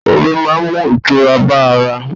Ọmi máa ń mú ìtura bá ara.